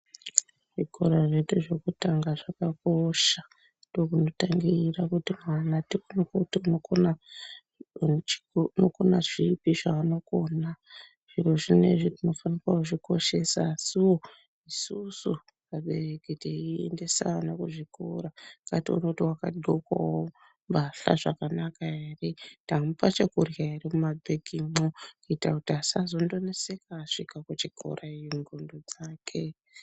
Zvikora zvedu zvekutanga zvakakosha, ndokunotangire kuti mwana tikone kuona kuti unokona zvipi zveanokona. Zviro zvinezvi tinofane kuzvikoshesa, asi nesuwo vabereki, teiendesa vana kuzvikora, ngatione kuti wakagqokawo mbahla zvakanaka ere, tamupa chekurya ere mumabhegimwo? Kuita kuti asazoneseka asvika kuchikora ngqondo dzake.